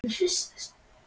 Gekk þá Þórdís fram og til